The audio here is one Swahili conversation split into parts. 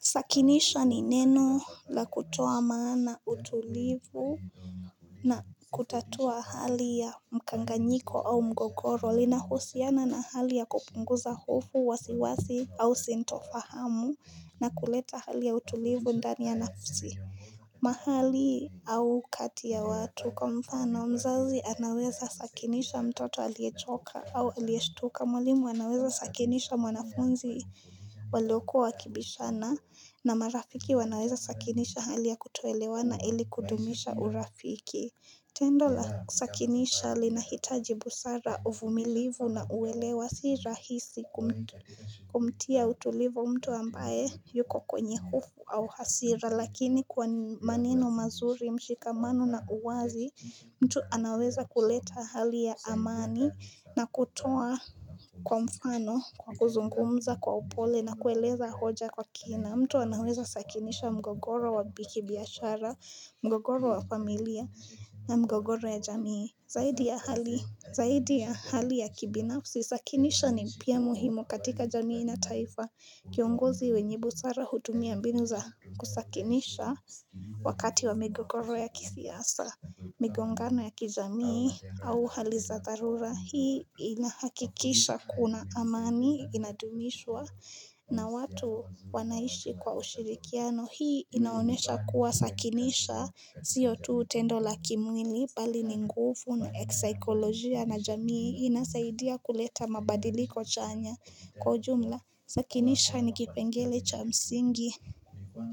Sakinisha ni neno la kutoa maana utulivu na kutatua hali ya mkanganjiko au mgogoro linahusiana na hali ya kupunguza hofu wasiwasi au sintofahamu na kuleta hali ya utulivu ndani ya nafsi mahali au kati ya watu kwa mfano mzazi anaweza sakinisha mtoto aliechoka au alieshtuka mwalimu anaweza sakinisha mwanafunzi waliokuwa wakibishana na marafiki wanaweza sakinisha hali ya kutoelewana ili kudumisha urafiki tendo la sakinisha linahitaji busara uvumilivu na uwelewa si rahisi kumtia utulivu mtu ambaye yuko kwenye hufu au hasira lakini kwa manino mazuri mshikamano na uwazi mtu anaweza kuleta hali ya amani na kutoa Kwa mfano kwa kuzungumza kwa upole na kueleza hoja kwa kina mtu anaweza sakinisha mgogoro wa bikibiashara mgogoro wa familia na mgogoro ya jamii Zaidi ya hali zaidi ya hali ya kibinafsi sakinisha ni pia muhimu katika jamii na taifa kiongozi wenyibu sara hudumia mbinu za kusakinisha wakati wa migogoro ya kisiasa migongano ya kijamii au haliza dharura Hii inahakikisha kuna amani inadumishwa na watu wanaishi kwa ushirikiano Hii inaonesha kuwa sakinisha siyo tu tendo la kimwili pali ni nguvu na eksaikolojia na jamii Inasaidia kuleta mabadiliko chanya Kwa ujumla sakinisha nikipengele cha msingi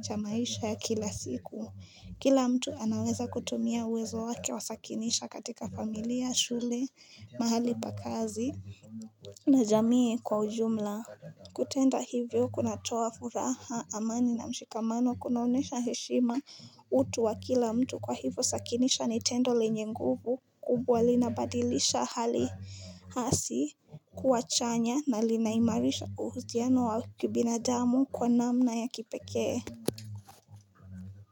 cha maisha ya kila siku Kila mtu anaweza kutumia uwezo wake wa sakinisha katika familia, shule, mahali pa kazi, na jamii kwa ujumla. Kutenda hivyo kunatoa furaha amani na mshikamano kunaonesha heshima utu wa kila mtu kwa hivo sakinisha ni tendo lenye nguvu kubwa linabadilisha hali hasi kuwa chanya na linaimarisha uhusiano wa kibinadamu kwa namna ya kipekee.